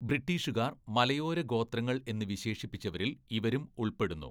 ബ്രിട്ടീഷുകാർ മലയോര ഗോത്രങ്ങൾ എന്ന് വിശേഷിപ്പിച്ചവരില്‍ ഇവരും ഉൾപ്പെടുന്നു.